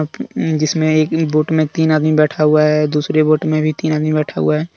जिसमे एक ही बोट मे तीन आदमी बैठा हुआ है दूसरे बोट मे भी तीन आदमी बैठा हुआ--